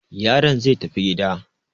Yaron zai tafi gida.